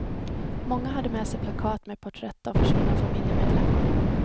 Många hade med sig plakat med porträtt av försvunna familjemedlemmar.